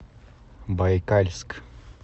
байкальск